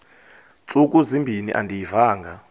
ntsuku zimbin andiyivanga